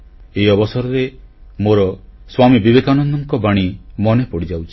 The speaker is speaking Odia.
ଏ ଅବସରରେ ମୋର ସ୍ୱାମୀ ବିବେକାନନ୍ଦଙ୍କ ବାଣୀ ମନେ ପଡ଼ିଯାଉଛି